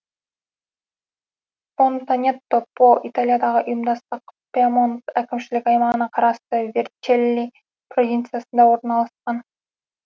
фонтанетто по италиядағы ұйымдастық пьемонт әкімшілік аймағына қарасты верчелли провинциясында орналасқан